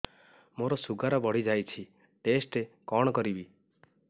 ମୋର ଶୁଗାର ବଢିଯାଇଛି ଟେଷ୍ଟ କଣ କରିବି